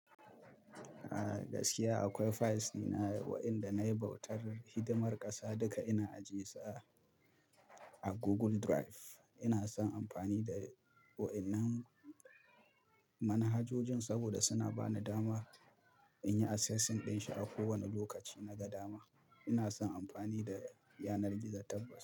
A gaskiya akwai files dina, wayanda na yi bautar, hidimar ƙasa duka ina ajiyesu a, a Google Drive. Ina son amfani da, wa'ennan, manhajojin saboda suna bani dama, in yi assessing ɗin shi a kowanna lokaci naga dama. Ina son amfani da, yanar gizo tabbas.